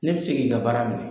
Ne bɛ se k'i ka baara minɛ